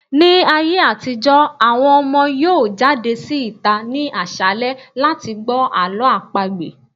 Ní ayé àtijọ́, àwọn ọmọ yóò jáde sí ìta ní àṣálẹ́ láti gbọ́ Àlọ́ àpagbè.